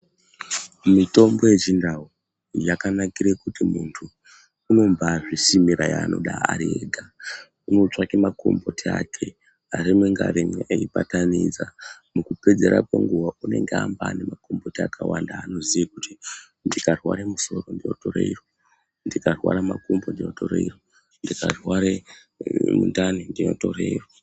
Mitombo yechiNdau yakanakire kuti muntu unombaazvisimira yaanoda ari ega. Unotsvake makomboti ake rimwe ngarimwe eibatanidza. Mukupedzisira kwenguwa unenga aanemakomboti akawanda aanoziya kuti ndikarware musoro ndotore iro, ndikarware makumbo ndotore iro, ndikarware mundani ndinotore iro.